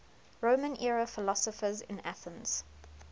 roman era philosophers in athens